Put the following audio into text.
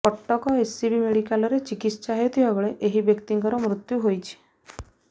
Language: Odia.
କଟକ ଏସ୍ସିବି ମେଡିକାଲରେ ଚିକିତ୍ସା ହେଉଥିବା ବେଳେ ଏହି ବ୍ୟକ୍ତିଙ୍କର ମୃତ୍ୟୁ ହୋଇଛି